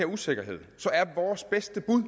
usikkerhed